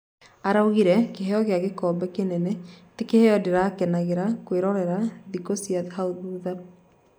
Araugire, Kĩheo gĩa gĩkombe kĩnene ti Kiheo ndĩrakenagĩra kwĩrorera thikũ cia hau thutha.